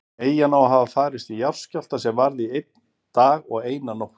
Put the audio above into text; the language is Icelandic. Eyjan á að hafa farist í jarðskjálfta sem varði í einn dag og eina nótt.